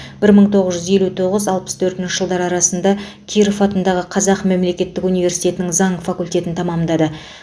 бір мың тоғыз жүз елу тоғыз алпыс төртінші жылдар арасында киров атындағы қазақ мемлекеттік университетінің заң факультетін тәмамдады